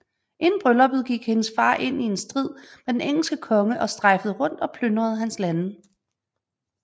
Inden brylluppet gik hendes far ind i en strid med den engelske konge og strejfede rundt og plyndrede hans lande